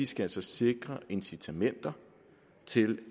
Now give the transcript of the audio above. skal sikre incitamenter til